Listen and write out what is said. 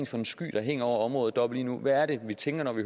for en sky der hænger over området deroppe lige nu hvad er det vi tænker når vi